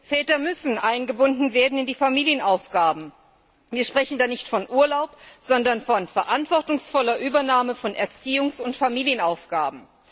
Väter müssen eingebunden werden in die Familienaufgaben, und wir sprechen da nicht von Urlaub, sondern von verantwortungsvoller Übernahme von Erziehungs und Familienaufgaben.